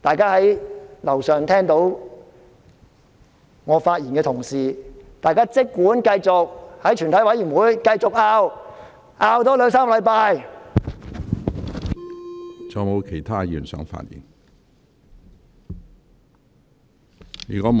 在樓上聽到我發言的同事，大家儘管繼續在全體委員會爭拗，多爭拗兩三星期。